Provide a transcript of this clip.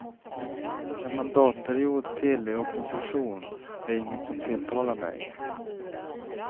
En mandatperiod till i opposition är inget som tilltalar mig.